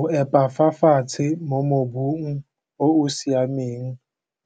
O epa fa fatshe mo mobung o o siameng